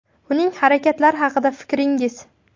Uning harakatlari haqida fikringiz?